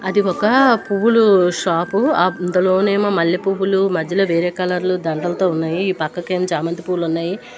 అది ఒక పువ్వులు షాప్ అందులోనేమో మల్లె పువ్వులు మధ్యలో వేరే కలర్ లు దండలతో ఉన్నాయి ఈ పక్కకేమో చామంతి పూలు ఉన్నాయి.